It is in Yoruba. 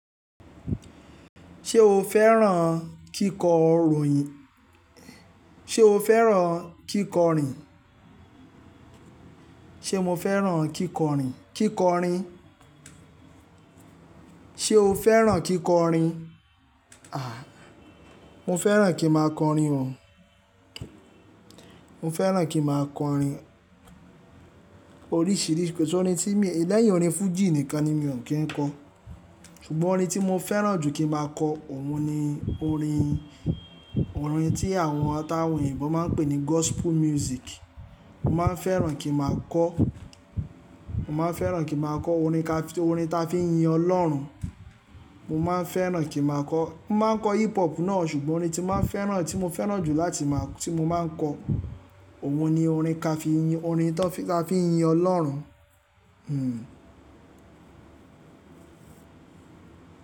Ṣé o fẹ́ràn kíkọ ròyìn? Ṣé o fẹ́ràn kíkọ rìn? Ṣé mo fẹ́ràn kíkọ rìn? Kíkọrin. Ṣé o fẹ́ràn kíkọrin? À, mo fẹ́ràn kí ma kọrin o. Mo fẹ́ràn kí ma kọrin oríṣìíríṣìí. kOrin tí mi, lẹ́yìn orin Fuji nìkan ni mi ò kí ń kọ. Ṣùgbọ́n orin tí mo fẹ́ràn jù kí ń máa kọ, òun ni orin, orin tí àwọn atàwọn eyinbo máa ń pè ní gospel music. Mo máa ń fẹ́ràn kí màá kọ́, mo máa ń fẹ́ràn kí màá kọ́ orin ka, orin ta fi ń yin Ọlọ́run. Mo máa ń fẹ́ràn kí màá kọ́. Mo máa ń kọ hip hop náà, ṣùgbọ́n orin tí mo máa ń fẹ́ràn, tí mo fẹ́ràn jù láti máa, tí mo máa ń kọ, òun ni orin kàfi yin, orin tó fi, ta fi ń yin Ọlọ́run.